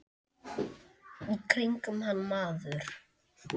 Í kringum hann maður.